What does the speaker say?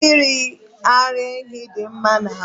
mmiri ara ehi dị mma n'ahụ